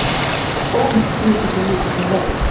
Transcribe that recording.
Óvíst sé hversu mikill hann verði